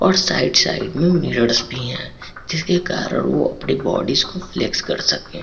और side side में mirrors भी हैं जिस के कारण वो अपनी बॉडीस को फ्लेक्स भी कर सकते हैं।